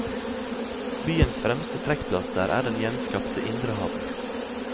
Byens fremste trekkplaster er den gjenskapte indre havn.